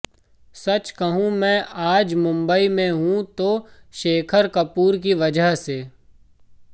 सच कहूं मैं आज मुंबई में हूं तो शेखर कपूर की वजह से